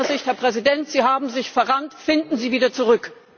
Aus meiner Sicht, Herr Präsident Sie haben sich verrannt, finden Sie wieder zurück!